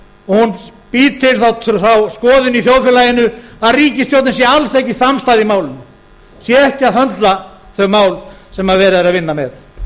og hún býr til þá skoðun í þjóðfélaginu að ríkisstjórnin sé alls ekki samstæð í málinu sé ekki að höndla þau mál sem verið er að vinna með